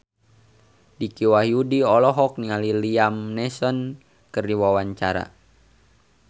Dicky Wahyudi olohok ningali Liam Neeson keur diwawancara